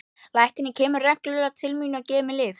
Læknirinn kemur reglulega til mín og gefur mér lyf.